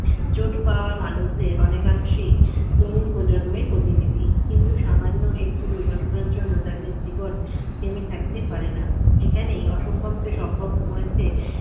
চোট পাওয়া মানুষদের অনেকাংশেই তরুণ প্রজন্মই প্রতিনিধি কিন্তু সামান্য একটি দুর্ঘটনার জন্য যাদের জীবন থেমে থাকতে পারেনা এখানেই অসম্ভবকে সম্ভব করেছে